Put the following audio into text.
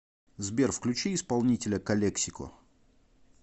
сбер включи исполнителя калексико